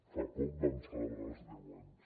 fa poc vam celebrar ne els deu anys